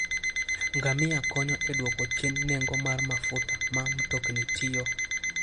Ngamia konyo e dwoko chien nengo mar mafuta ma mtokni tiyo.